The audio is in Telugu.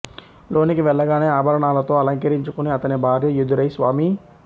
లోనికి వెళ్లగానే ఆభరణాలతో అలంకరించుకుని అతని భార్య యెదురై స్వామీ